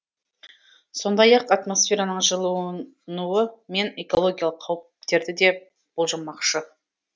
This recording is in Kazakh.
сондай ақ атмосфераның жылынуы мен экологиялық қауіптерді де болжамақшы